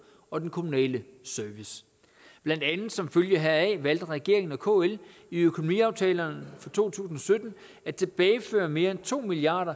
og den kommunale service blandt andet som følge heraf valgte regeringen og kl i økonomiaftalerne for to tusind og sytten at tilbageføre mere end to milliard